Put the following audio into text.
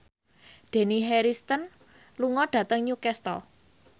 Dani Harrison lunga dhateng Newcastle